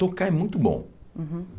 Tocar é muito bom. Uhum